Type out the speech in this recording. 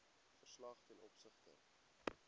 verslag ten opsigte